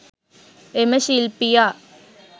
එම ශිල්පියා